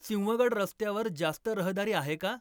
सिंहगड रस्त्यावर जास्त रहदारी आहे का?